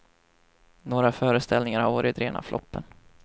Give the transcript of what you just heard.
Några föreställningar har varit rena floppen.